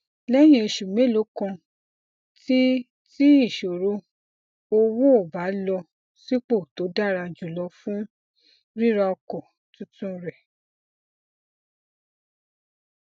lẹyìn oṣù mélòó kan ti ti ìṣòro owó ó bá a lọ sípò tó dára jùlọ fún rira ọkọ tuntun rẹ